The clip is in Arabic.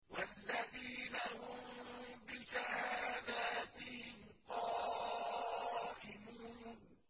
وَالَّذِينَ هُم بِشَهَادَاتِهِمْ قَائِمُونَ